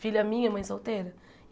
Filha minha, mãe solteira.